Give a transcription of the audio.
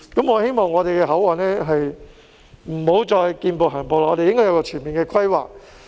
我希望香港的口岸不要再"見步行步"，要有一個全面的規劃。